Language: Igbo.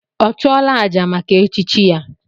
Ọ chụọla àjà maka echichi ya?